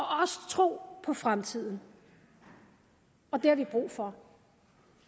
tro på fremtiden og det har vi brug for